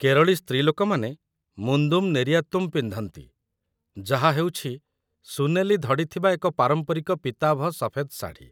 କେରଳୀ ସ୍ତ୍ରୀଲୋକମାନେ ମୁନ୍ଦୁମ୍ ନେରିୟାତୁମ୍ ପିନ୍ଧନ୍ତି, ଯାହା ହେଉଛି ସୁନେଲି ଧଡ଼ି ଥିବା ଏକ ପାରମ୍ପରିକ ପୀତାଭ ସଫେଦ ଶାଢ଼ୀ